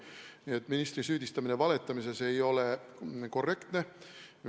Nii et ministri süüdistamine valetamises ei ole korrektne.